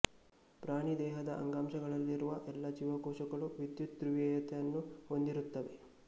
ಪ್ರಾಣಿ ದೇಹದ ಅಂಗಾಂಶಗಳಲ್ಲಿರುವ ಎಲ್ಲಾ ಜೀವಕೋಶಗಳು ವಿದ್ಯುತ್ ಧ್ರುವೀಯತೆಯನ್ನು ಹೊಂದಿರುತ್ತವೆ